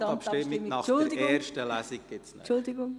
Es folgt die Gesamtabstimmung nach der ersten Lesung.